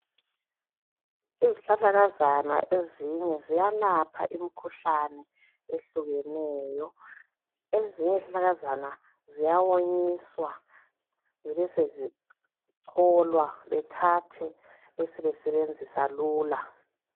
Izihlahlakazana ezinye ziyalapha imikhuhlane ehlukeneyo. Ezinye izihlahlakazana ziyawonyiswa zibe sezicholwa bethathe besebenzisa lula.